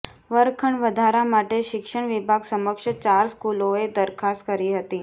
વર્ગખંડ વધારા માટે શિક્ષણ વિભાગ સમક્ષ ચાર સ્કૂલોએ દરખાસ્ત કરી હતી